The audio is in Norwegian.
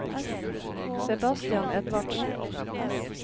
Sebastian Edvardsen